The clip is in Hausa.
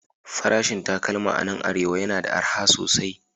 Farashin takalma a nan Arewa yana da arha sosai